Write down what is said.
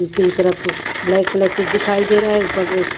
दूसरी तरफ black black कुछ दिखाई दे रहा है ऊपर--